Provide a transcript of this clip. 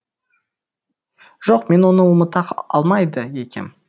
жоқ мен оны ұмыта алмайды екем